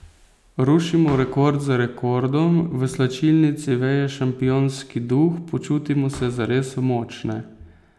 Rušimo rekord za rekordom, v slačilnici veje šampionski duh, počutimo se zares močne.